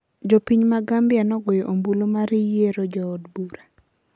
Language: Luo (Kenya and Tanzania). jopiny ma Gambia nogoyo ombulu mar yiero jood bura